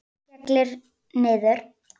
Skellur niður.